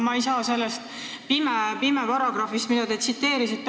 Ma ei saa aru sellest paragrahvist, mida te tsiteerisite.